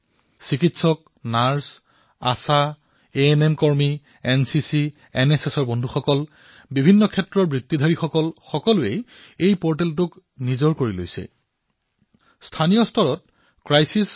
ইয়াত চিকিৎসক নাৰ্চৰ পৰা আৰম্ভ কৰি আমাৰ আশা এএনএম ভগ্নীসকলে আমাৰ এনচিচি এনএছএছৰ সতীৰ্থসকলে বিভিন্ন ক্ষেত্ৰৰ পেছাদাৰী লোকসকলে এই প্লেটফৰ্মক নিজৰ প্লেটফৰ্ম হিচাপে গঢ়ি তুলিছে